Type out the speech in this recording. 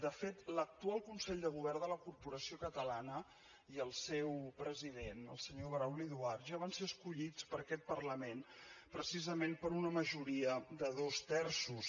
de fet l’actual consell de govern de la corporació catalana i el seu president el senyor brauli duart ja van ser escollits per aquest parlament precisament per una majoria de dos terços